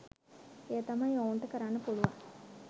එය තමයි ඔවුන්ට කරන්න පුලුවන්